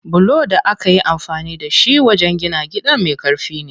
Bulon da akayi amfani da shi wajen gina gidan me ƙarfi ne.